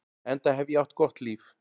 Enda hef ég átt gott líf.